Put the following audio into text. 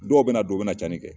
Dɔw bɛ na don u bɛna tiɲɛni kɛ